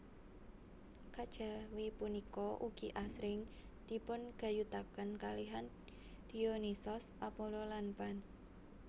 Kejawi punika ugi asring dipungayutaken kalihan Dionisos Apollo lan Pan